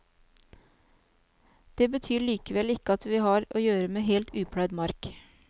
Det betyr likevel ikke at vi har å gjøre med helt upløyd mark.